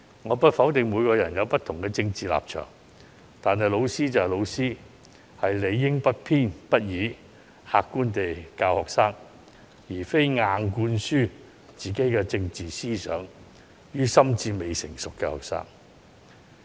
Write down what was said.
我不否定每個人皆有不同的政治立場，但老師就是老師，理應不偏不倚，客觀地教導學生，而不是將自己的政治思想硬灌輸予心智未成熟的學生。